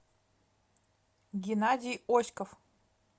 геннадий оськов